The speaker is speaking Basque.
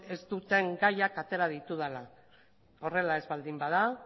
ez dituzten gaiak atera ditudala horrela ez baldin bada